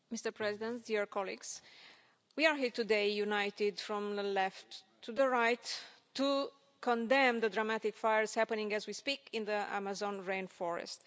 Mr President, we are here today, united from the left to the right, to condemn the dramatic fires happening as we speak in the Amazon rainforest.